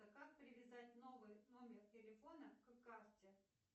как привязать новый номер телефона к карте